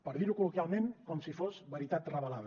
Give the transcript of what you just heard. per dir ho col·loquialment com si fos veritat revelada